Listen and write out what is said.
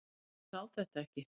Ég sá þetta ekki.